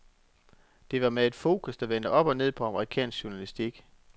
Det var med et fokus, der vendte op og ned på amerikansk journalistik.